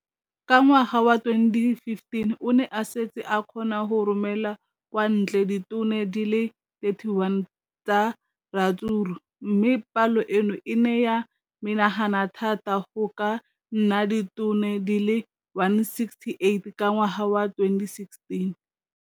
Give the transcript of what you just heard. Ka ngwaga wa 2015, o ne a setse a kgona go romela kwa ntle ditone di le 31 tsa ratsuru mme palo eno e ne ya menagana thata go ka nna ditone di le 168 ka ngwaga wa 2016.